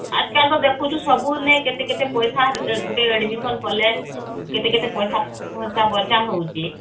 ଆଜ କାଲ ତ ଦେଖୁଛୁ ସବୁ ନେ କେତେ କେତେ ପଇସା ର ଗୁଟେ admission କଲେକେତେ କେତେ ପଇସା ହମ୍ହଉଛି